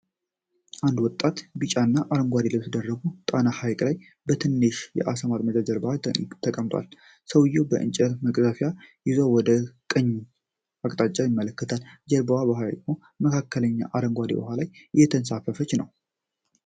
አንድ ወጣት በቢጫና አረንጓዴ ልብስ ደርቦ በጣና ሐይቅ ላይ በትንሽ የዓሳ ማጥመጃ ጀልባ ላይ ተቀምጧል። ሰውዬው የእንጨት መቅዘፊያ ይዞ ወደ ቀኝ አቅጣጫ ይመለከታል። ጀልባዋ በሐይቁ መካከለኛ አረንጓዴ ውሃ ላይ እየተንሳፈፈች ነው።